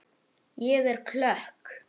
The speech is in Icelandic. Ég er klökk.